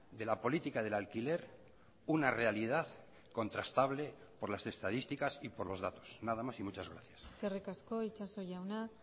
de la política del alquiler una realidad contrastable por las estadísticas y por los datos nada más y muchas gracias eskerrik asko itxaso jauna